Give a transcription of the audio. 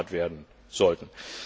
eingespart werden sollten.